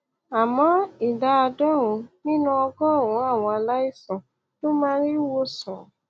àmọ ìdá àádọrùnún nínú ọgọrùnún àwọn aláìsàn ló máa ń rí ìwòsàn